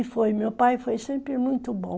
E foi, meu pai foi sempre muito bom.